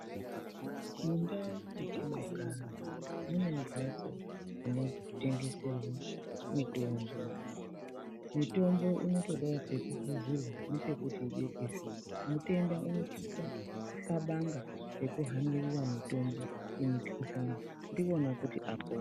Mundau mwetinogara mune mhatso dzinotengederwa mitombo. Mitombo inotodawo pekuhluzirwe nepekuti ibekwezve. Mutenda unosise kuxabanga nekuhanira mitombo yemikhuhlani ndikwona kuti apone.